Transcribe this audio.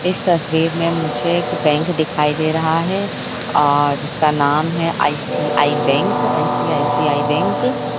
इस तस्वीर में मुझे एक बैंक दिखाई दे रहा है और जिसका नाम है आई.सी.आई. Bank ICICI. बैंक ।